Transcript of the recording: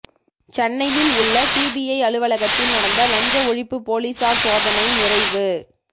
சென்னையில் உள்ள டிபிஐ அலுவலகத்தில் நடந்த லஞ்ச ஒழிப்பு போலீசார் சோதனை நிறைவு